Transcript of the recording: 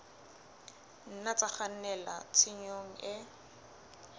nna tsa kgannela tshenyong e